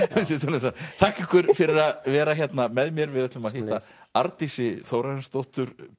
með þakka ykkur fyrir að vera hérna með mér við ætlum að hitta Arndísi Þórarinsdóttur